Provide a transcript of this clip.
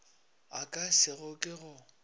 a ka se ke go